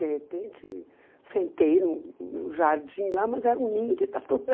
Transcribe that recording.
De repente, sentei no jardim lá, mas era um ninho de taturana.